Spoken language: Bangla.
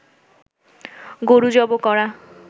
গরু জবো করা